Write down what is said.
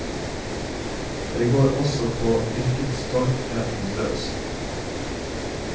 Det går også på yrkesstoltheten løs.